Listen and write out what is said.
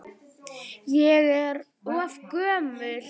Ég er of gömul.